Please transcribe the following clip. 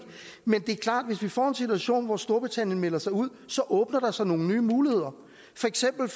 men det er klart at hvis vi får en situation hvor storbritannien melder sig ud så åbner der sig nogle nye muligheder for eksempel